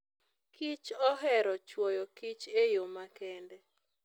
kich ohero chwoyo kich e yo makende.